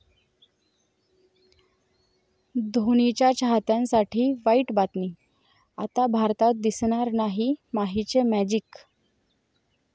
धोनीच्या चाहत्यांसाठी वाईट बातमी, आता भारतात दिसणार नाही माहीचे मॅजिक?